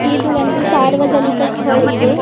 ಇದು ಒಂದು ಸಾರ್ವಜನಿಕ ಸ್ಥಳ ಇದೆ.